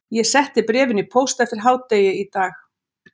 Ég setti bréfin í póst eftir hádegi í dag